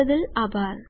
જોડાવા બદ્દલ આભાર